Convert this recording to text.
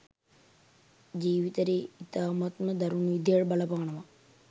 ජීවිතයට ඉතාමත්ම දරුණු විදිහට බලපානවා